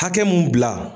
Hakɛ mun bila